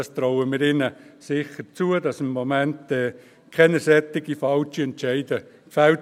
Wir trauen es Bernmobil sicher zu, im Moment keine solch falschen Entscheide zu fällen.